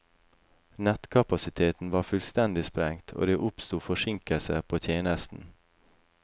Nettkapasiteten var fullstendig sprengt, og det oppsto forsinkelser på tjenesten.